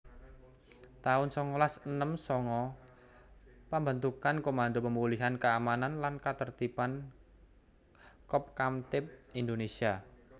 taun songolas enem sanga Pambentukan Komando Pemulihan Keamanan lan Katertiban Kopkamtib Indonésia